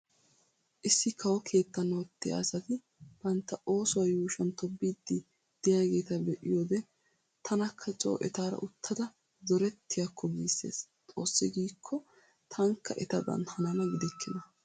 Issi kawo keettan ottiya asati bantta oosuwa yuushuwan tobbiiddi diyaageeta be'iyoode tanakka coo etaara uttada zorettiyakko giissees. Xoossi giikko taanikka etadan hanana gidikkina.